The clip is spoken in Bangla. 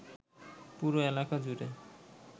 পুরো এলাকা জুড়ে